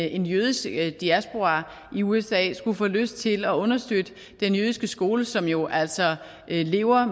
en jødisk diaspora i usa skulle få lyst til at understøtte den jødiske skole som jo altså lever